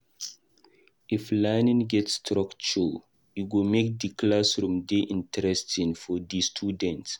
If learning get structure, e go make di classroom dey interesting for di student.